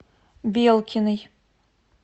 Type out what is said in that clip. белкиной